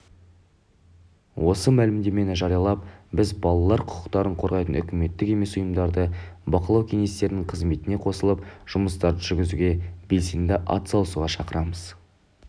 осы мәлімдемені жариялап біз балалар құқықтарын қорғайтын үкіметтік емес ұйымдарды бақылау кеңестерінің қызметіне қосылып жұмыстарын жүргізуге белсенді ат салысуға шақырамыз